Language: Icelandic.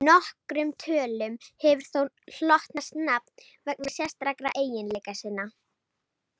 Nokkrum tölum hefur þó hlotnast nafn vegna sérstakra eiginleika sinna.